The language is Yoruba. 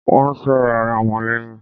Won ń sọ̀rọ̀ ara wọn leyin